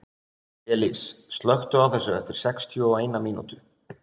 Elis, slökktu á þessu eftir sextíu og eina mínútur.